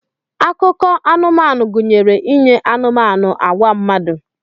Akụkọ anụmanụ gụnyere inye anụmanụ agwa mmadụ.